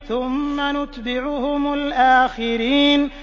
ثُمَّ نُتْبِعُهُمُ الْآخِرِينَ